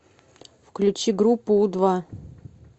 включи группу у два